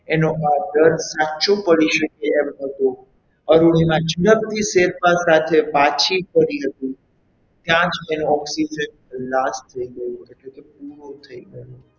એનો આ દ્રઢ સાચો પડી શકે તેમ હતો અરુણિમા ઝડપથી શેરપા સાથે પાછી ફરી હતી ત્યાં જ તેનું oxygen ખલાસ થઈ ગયો હતો એટલે કે પૂરો થઈ ગયો હતો.